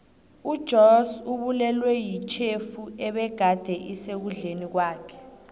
ujoss ubulewe yitjhefu ebegade isekudleni kwakhe